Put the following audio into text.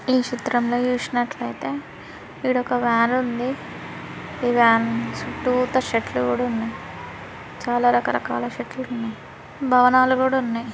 ఇక్కడ ఈ చిత్రంలో చూసినట్లయితే ఇదొక వ్యాన్ ఉంది. ఈ వ్యాన్ చుట్టూతా చెట్లు కూడా ఉన్న య్. చాలా రకరకాల చెట్లు ఉన్నయ్. భవనాలు కూడా ఉన్నయ్.